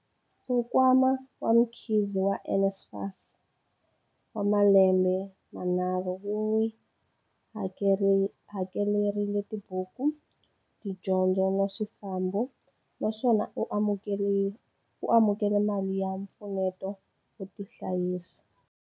Nkwama wa Mkhize wa NSFAS wa malembe manharhu wu n'wi hakelerile tibuku, tidyondzo na swifambo, naswona u amukele mali ya mpfuneto wo tihlayisa.